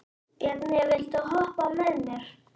Bjarni, viltu hoppa með mér?